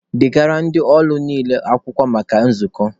Degara ndị ọlụ niile akwụkwọ maka nzukọ!